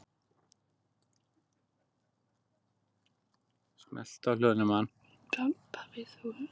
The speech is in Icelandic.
Og hvað gera menn í því?